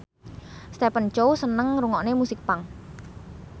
Stephen Chow seneng ngrungokne musik punk